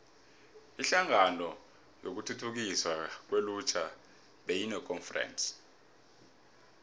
inhlangano yokuthuthukiswa kwelutjha beyinekonferense